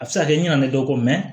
A bɛ se ka kɛ i ɲɛna ne dɔ kɔ